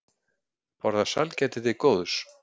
Borða sælgæti til góðs